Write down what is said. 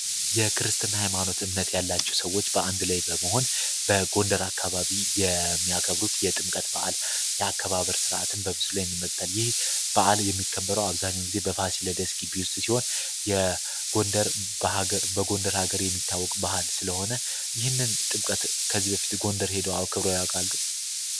የክርስትና ሃይማኖት እምነት. ያላቸው ሰዎች በአንድ ላይ በመሆን በጎንደር አካባቢ የሚያከብሩት የጥምቀት በዓል የአከባበር ስርዓትን በምሳሉ ላይ እንመለከታለን። ይህ በዓል የሚከበረው አብዛኛውን ጊዜ በፋሲለደስ ግቢ ውስጥ ሲሆን፤ የጎንደር በአገር በጎንደር ሀገር የሚታወቅ ባህል ስለሆነ ይህንን ጥምቀትን ከዚህ በፊት ጎንደር ሄዶ አክብረው ያውቃሉ?